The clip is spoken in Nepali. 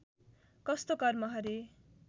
कस्तो कर्म हरे